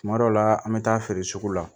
Kuma dɔ la an bɛ taa feere sugu la